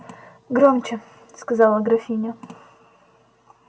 громче сказала графиня